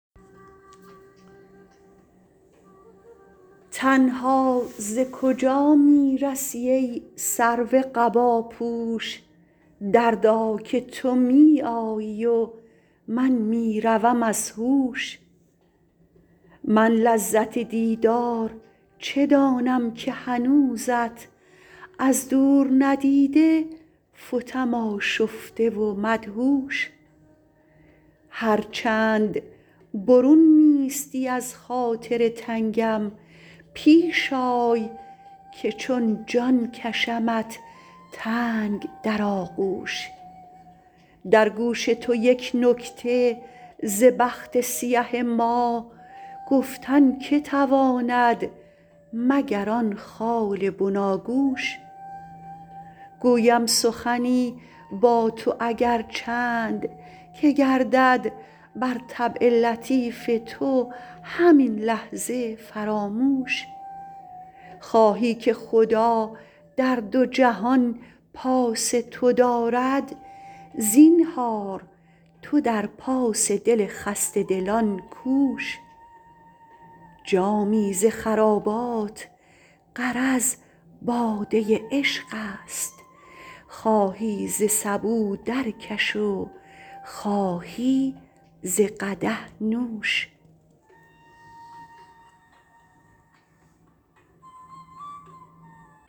تنها ز کجا می رسی ای سرو قباپوش دردا که تو می آیی و من می روم از هوش من لذت دیدار چه دانم که هنوزت از دور ندیده فتم آشفته و مدهوش هر چند برون نیستی از خاطر تنگم پیش آی که چون جان کشمت تنگ در آغوش در گوش تو یک نکته ز بخت سیه ما گفتن که تواند مگر آن خال بناگوش گویم سخنی با تو اگر چند که گردد بر طبع لطیف تو همین لحظه فراموش خواهی که خدا در دو جهان پاس تو دارد زینهار تو در پاس دل خسته دلان کوش جامی ز خرابات غرض باده عشق است خواهی ز سبو درکش و خواهی ز قدح نوش